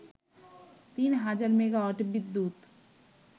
তিন হাজার মেগাওয়াট বিদ্যুৎ